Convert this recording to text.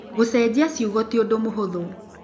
Gũcenjia ciugo ti ũndũ mũhũthũ.